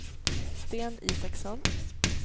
Sten Isaksson